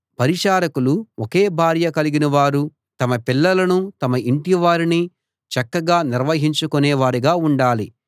పరిచారకులు ఒకే భార్య కలిగినవారూ తమ పిల్లలనూ తమ ఇంటివారిని చక్కగా నిర్వహించుకొనేవారుగా ఉండాలి